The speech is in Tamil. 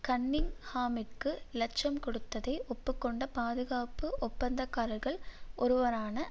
கன்னிங்ஹாமிற்கு இலச்சம் கொடுத்ததை ஒப்பு கொண்ட பாதுகாப்பு ஒப்பந்தக்காரர்கள் ஒருவரான